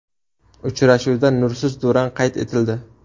Uchrashuvda nursiz durang qayd etildi.